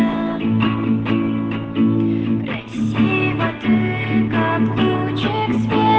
длинными